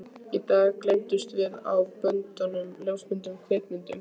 Í dag geymumst við á böndum, ljósmyndum, kvikmyndum.